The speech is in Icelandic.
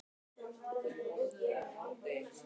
Vigri, spilaðu lagið „Fljúgðu“.